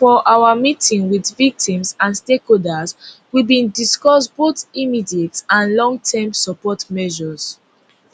for our meeting wit victims and stakeholders we bin discuss both immediate and long term support measures